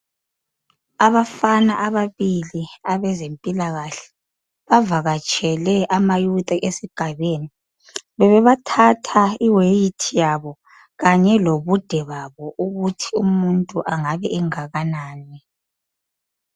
Abafana ababili abezempilakahle bavakatshele amayouth esigabeni. Bebebathatha iweight yabo kanye lobude babo ukuthi umuntu engabe engakanani.